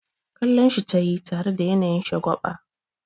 Kallonshi tayi tare da yanayin shagwaba.